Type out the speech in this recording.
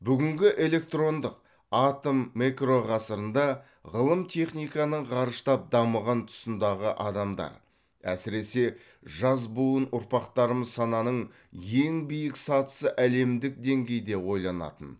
бүгінгі электрондық атом мэкро ғасырында ғылым техниканың ғарыштап дамыған тұсындағы адамдар әсіресе жас буын ұрпақтарымыз сананың ең биік сатысы әлемдік деңгейде ойланатын